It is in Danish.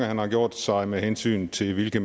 har gjort sig med hensyn til hvilke